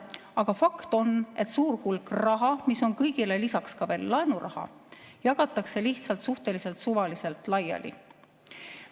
Aga fakt on, et suur hulk raha, mis on kõigele lisaks laenuraha, jagatakse lihtsalt suhteliselt suvaliselt laiali.